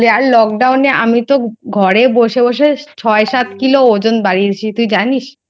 রোগা হলি আর Lockdown আমি তো ঘরে বসে বসে Noise ছয় সাত কিলো ওজন বাড়িয়েছি. তুই জানিস?